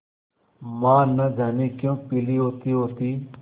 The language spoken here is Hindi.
माँ न जाने क्यों पीली होतीहोती